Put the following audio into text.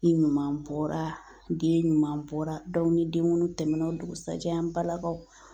E ɲuman bɔra , den ɲuman bɔra ni denkundi tɛmɛna o dugusajɛ an balakaw